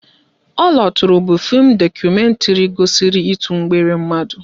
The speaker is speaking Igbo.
Oloture bụ fim dokumentri gosiri ịtụ mgbere mmadụ